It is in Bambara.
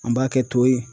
An b'a kɛ to ye